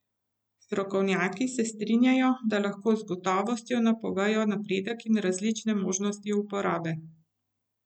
Strokovnjaki se strinjajo, da lahko z gotovostjo napovejo napredek in resnične možnosti uporabe.